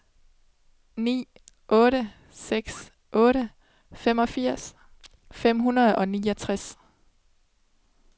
ni otte seks otte femogfirs fem hundrede og niogtres